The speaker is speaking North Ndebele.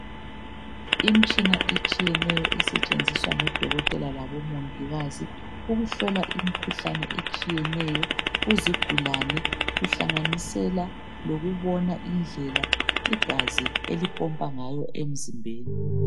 Imtshina etshiyeneyo esetshenziswa ngodokotela labomongikazi ukuhlola imkhuhlane etshiyeneyo kuzigulane kuhlanganisela ukubona indlela igazi elipompa ngayo emzimbeni